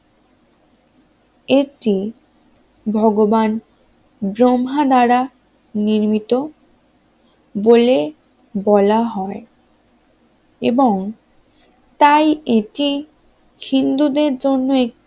একটি ভগবান ব্রহ্মা দ্বারা নির্মিত বলে বলা হয় এবং তাই এটি হিন্দুদের জন্য